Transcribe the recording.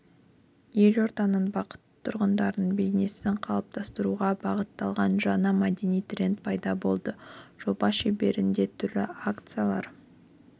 елорданың бақытты тұрғынының бейнесін қалыптастыруға бағытталған жаңа мәдени тренд пайда болды жоба шеңберінде түрлі акциялар